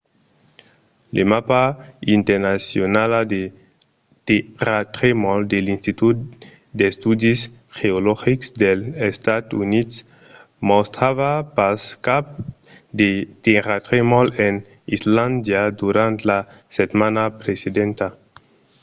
la mapa internacionala de tèrratremols de l’institut d’estudis geologics dels estats units mostrava pas cap de tèrratremols en islàndia durant la setmana precedenta